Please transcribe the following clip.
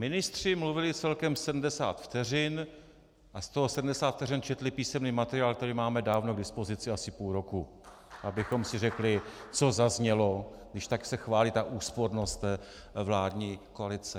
Ministři mluvili celkem 70 vteřin a z toho 70 vteřin četli písemný materiál, který máme dávno k dispozici asi půl roku - abychom si řekli, co zaznělo, když se tak chválí ta úspornost vládní koalice.